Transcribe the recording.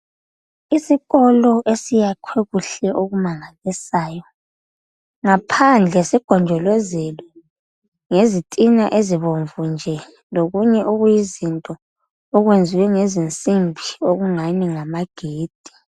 Isikolo esiyakhiwe kuhle okumangalisayo ngaphandle sigonjolozelwe ngezitina ezibomvu nje lokunye okuyizinto okuyenziwe ngezinsimbi okungani ngamagedi.